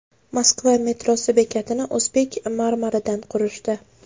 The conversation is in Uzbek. Moskva metrosi bekatini o‘zbek marmaridan qurishdi.